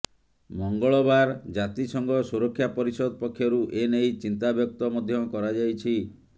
ମଙ୍ଗଳବାର ଜାତିସଂଘ ସୁରକ୍ଷା ପରିଷଦ ପକ୍ଷରୁ ଏ ନେଇ ଚିନ୍ତା ବ୍ୟକ୍ତ ମଧ୍ୟ କରାଯାଇଛି